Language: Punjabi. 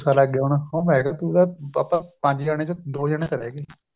ਉਹ ਸਾਲਾਂ ਅੱਗੇ ਹੋਣਾ ਉਹ ਮੈ ਕਿਹਾ ਤੂੰ ਤਾਂ ਪੰਜ ਜਾਣੇ ਚੋ ਦੋ ਜਾਣੇ ਚਲੇ ਗਏ